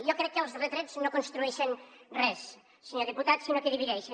jo crec que els retrets no construeixen res senyor diputat sinó que divideixen